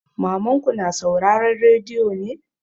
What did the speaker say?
Mamanka na sauraren rediyo ne?